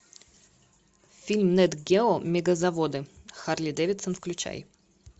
фильм нэт гео мегазаводы харлей дэвидсон включай